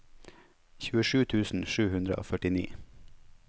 tjuesju tusen sju hundre og førtini